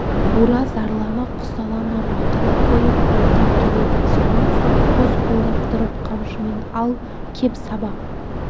бура зарлана құсалана бақырып қойып боздап келеді сонан соң қос қолдап тұрып қамшымен ал кеп саба